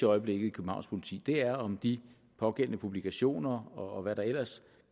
øjeblikket i københavns politi er om de pågældende publikationer og hvad der ellers